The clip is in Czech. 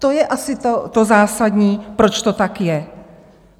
To je asi to zásadní, proč to tak je.